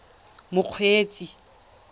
mokgweetsi